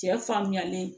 Cɛ faamuyalen